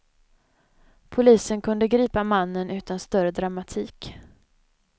Polisen kunde gripa mannen utan större dramatik.